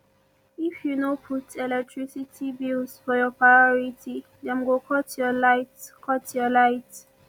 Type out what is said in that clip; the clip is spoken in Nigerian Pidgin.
if you no put electricity bills for your priority dem go cut your light cut your light